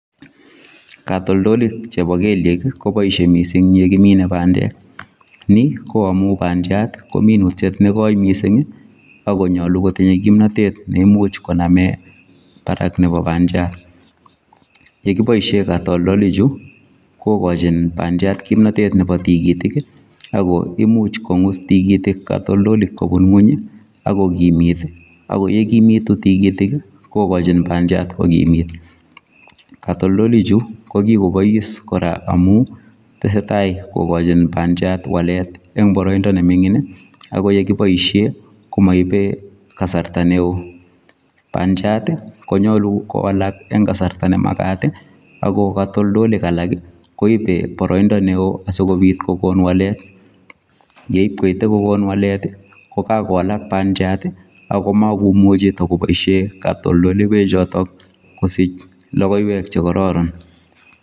Katoltolik che bo kelyeek ii kobaishe missing ye kimine pandeek ni ko amuun bandiat ye kimine kesuat mising ii ak konyaluu kotindai kimnatet ak konyaluu konameen Barak nebo pandiat ye kibaisheen katoltolik chuu kigochiin pandiat kimnatet nebo tikitiik ako imuuch kongus tikitiik katoltolik kobuun kweeny ak kokimiit ii ,ako ye kimituun tikitiik ii ko gachiin bandiat ko kimit katoltolik chuu ko kikoboise kora amuun tesetai kokain bandiat wallet eng baraindaa ne mingiin nekibaisheen komaibe kasarta ne oo pandiat ii konyaluu kowalak en kasarta ne makaat ii ako katoltolik alaak ii koibet baraindaa ne wooh asikobiit kogoon wallet yeib koite kogoon wallet ii ko kikowalak bandiat ii ako makomuchei kobaisheen katoltoleiweek chotoon kosiich logoiywek che kororon.